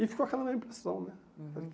E ficou aquela na impressão, né? Uhum